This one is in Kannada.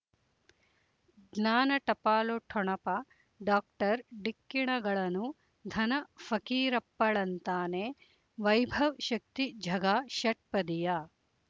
ಜ್ಞಾನ ಟಪಾಲು ಠೊಣಪ ಡಾಕ್ಟರ್ ಢಿಕ್ಕಿ ಣಗಳನು ಧನ ಫಕೀರಪ್ಪ ಳಂತಾನೆ ವೈಭವ್ ಶಕ್ತಿ ಝಗಾ ಷಟ್ಪದಿಯ